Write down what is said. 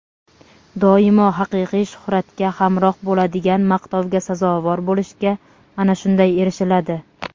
Doimo haqiqiy shuhratga hamroh bo‘ladigan maqtovga sazovor bo‘lishga ana shunday erishiladi.